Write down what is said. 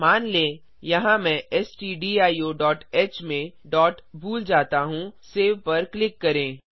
मान लें यहाँ मैं stdioह में डॉट भूल जाता हूँ सेव पर क्लिक करें